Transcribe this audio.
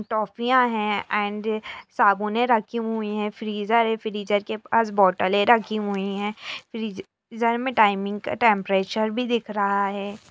टॉफियाँ हैं एण्ड साबुनें रखे हुए हैं फ्रीज़र है फ्रीज़र के पास बोतलें रखी हुई हैं फ्रीज़र में टाइमिंग का टेम्परचर भी दिख रहा है।